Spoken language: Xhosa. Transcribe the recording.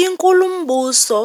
Inkulumbuso